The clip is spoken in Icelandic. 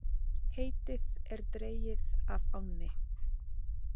Heitið er dregið af ánni.